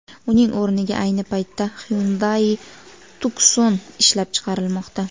Uning o‘rniga ayni paytda Hyundai Tucson ishlab chiqarilmoqda.